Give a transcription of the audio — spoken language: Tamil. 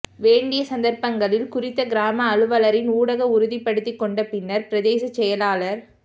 வேண்டிய சந்தர்ப்பங்களில் குறித்த கிராம அலுவலரின் ஊடாக உறுதிப்படுத்திக் கொண்ட பின்னர் பிரதேச செயலாளர்